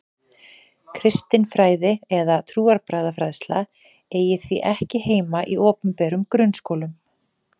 Kristin fræði eða trúarbragðafræðsla eigi því ekki heima í opinberum grunnskólum.